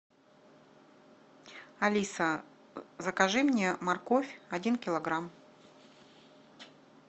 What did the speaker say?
алиса закажи мне морковь один килограмм